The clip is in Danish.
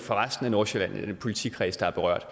resten af nordsjælland i den politikreds der er berørt